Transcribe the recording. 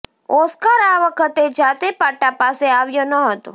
Oscar આ વખતે જાતે પાટા પાસે આવ્યો ન હતો